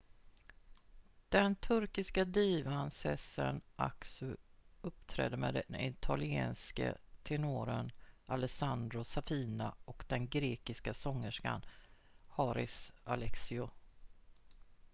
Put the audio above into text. den turkiska divan sezen aksu uppträdde med den italienske tenoren alessandro safina och den grekiska sångerskan haris alexiou